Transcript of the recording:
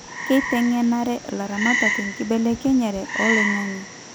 Keitengenare ilaramatak enkibelekenyere oloingange